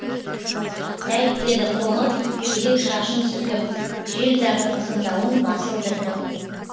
тәйт деді қоңыр терек шашын сілкіп жел дағы ызыңдауын басылды іркіп